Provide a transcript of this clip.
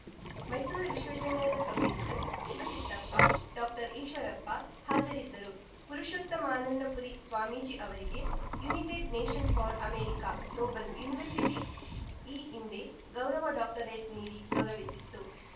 ಮೈಸೂರು ವಿಶ್ವವಿದ್ಯಾಲಯದ ಪ್ರೋಫೆಸರ್ಶಿವಚಿತ್ತಪ್ಪ ಡಾಕ್ಟರ್ಈಶ್ವರಪ್ಪ ಹಾಜರಿದ್ದರು ಪುರುಷೋತ್ತಮಾನಂದಪುರಿ ಸ್ವಾಮೀಜಿ ಅವರಿಗೆ United nation for America global university ಈ ಹಿಂದೆ ಗೌರವ ಡಾಕ್ಟರೇಟ್‌ ನೀಡಿ ಗೌರವಿಸಿತ್ತು